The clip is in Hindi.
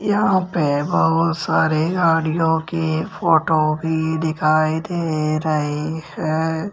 यहां पे बहुत सारे गाड़ियों के फोटो भी दिखाई दे रहे है।